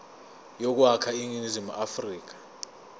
yokwakha iningizimu afrika